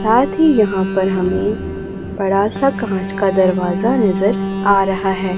साथ ही यहां पर हमें बड़ा सा कांच का दरवाजा नजर आ रहा है।